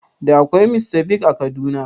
Da akwai Mr Biggs a Kaduna?